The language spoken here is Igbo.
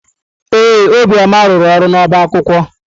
Ee, Obiọma rụrụ ọrụ n'ọbá akwụkwọ.